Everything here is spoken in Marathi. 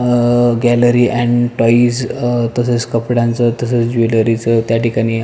अं गॅलरी अँड टॉयज तसेच कपड्यांचे तसेच ज्वेलरीच त्या ठिकाणी--